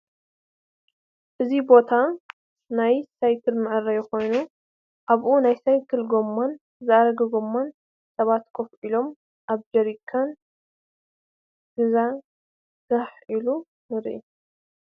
እዚ ቦታ ናይ ሳይክል ምዐረይ ኮይኒ ኣባኡ ናይሳይክል ጎማን ዝአረገ ጎማ ስባት ኮፍ ኢሎም ኣብ ጀረካን ግዛ ጋሕ ኢሉ ንርኢ ።